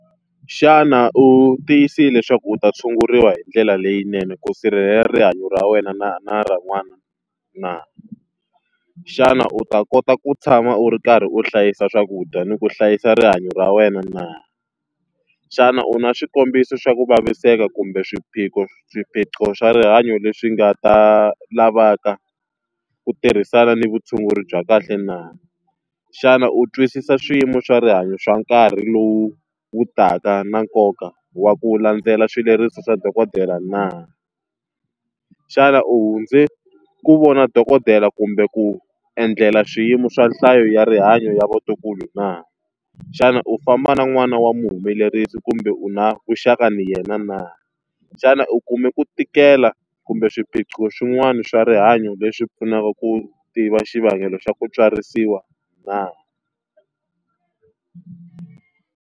Xana u tiyisile leswaku u ta tshunguriwa hi ndlela leyinene ku sirhelela rihanyo ra wena na na ra n'wana na? Xana u ta kota ku tshama u ri karhi u hlayisa swakudya ni ku hlayisa rihanyo ra wena na? Xana u na swikombiso swa ku vaviseka kumbe swiphiqo swa rihanyo leswi nga ta lavaka ku tirhisana ni vutshunguri bya kahle na? Xana u twisisa swiyimo swa rihanyo swa nkarhi lowu wu taka na nkoka wa ku landzelela swileriso swa dokodela na? Xana u hundze ku vona dokodela kumbe ku endlela swiyimo swa nhlayo ya rihanyo ya vatukulu na? Xana u famba na n'wana wa munhu humelerisi kumbe u na vuxaka na yena na? Xana u kume ku tikela kumbe swiphiqo swin'wana swa rihanyo leswi pfunaka ku tiva xivangelo xa ku tswarisiwa na?